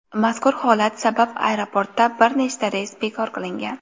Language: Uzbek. Mazkur holat sabab aeroportda bir nechta reys bekor qilingan.